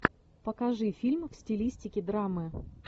покажи фильм в стилистике драмы